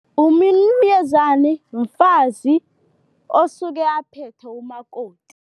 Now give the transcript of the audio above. mfazi osuke aphethe umakoti.